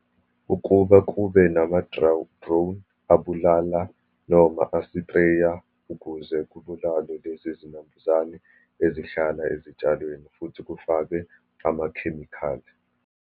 Ukuba kube drone abulala, noma asipreya ukuze kubulalwe lezi zinambuzane ezihlala ezitshalweni, futhi kufakwe amakhemikhali.